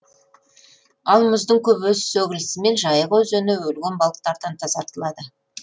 ал мұздың көбесі сөгілісімен жайық өзені өлген балықтардан тазартылады